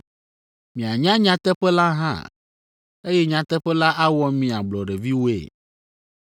Mianya nyateƒe la hã, eye nyateƒe la awɔ mi ablɔɖeviwoe.”